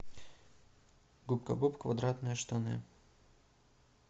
губка боб квадратные штаны